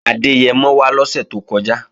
Adẹ́yẹmọ wá lọ́sè tó kọjá